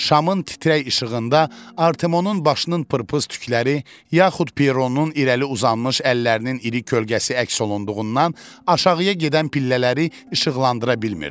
Şamın titrək işığında Artemonun başının pırpız tükləri, yaxud Pieronun irəli uzanmış əllərinin iri kölgəsi əks olunduğundan aşağıya gedən pillələri işıqlandıra bilmirdi.